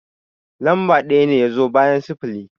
Lamba ɗaya ne ya zo bayan sifili